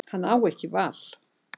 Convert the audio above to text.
Hann á ekki val.